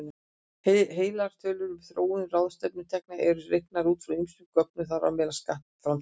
Heildartölur um þróun ráðstöfunartekna eru reiknaðar út frá ýmsum gögnum, þar á meðal skattframtölum.